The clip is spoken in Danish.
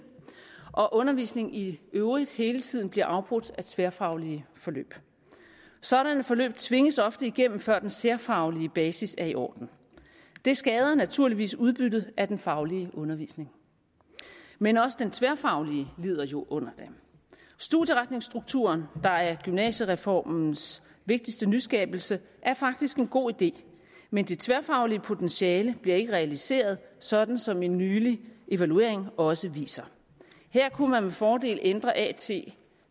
og fordi undervisningen i øvrigt hele tiden bliver afbrudt af tværfaglige forløb sådanne forløb tvinges ofte igennem før den særfaglige basis er i orden det skader naturligvis udbyttet af den faglige undervisning men også den tværfaglige lider jo under det studieretningsstrukturen der er gymnasiereformens vigtigste nyskabelse er faktisk en god idé men det tværfaglige potentiale bliver ikke realiseret sådan som en nylig evaluering også viser her kunne man med fordel ændre at